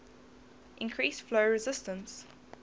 increase flow resistance